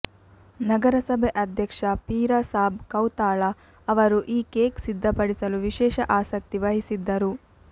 ನಗರಸಭೆ ಅಧ್ಯಕ್ಷ ಪೀರಸಾಬ್ ಕೌತಾಳ ಅವರು ಈ ಕೇಕ್ ಸಿದ್ಧಪಡಿಸಲು ವಿಶೇಷ ಆಸಕ್ತಿ ವಹಿಸಿದ್ದರು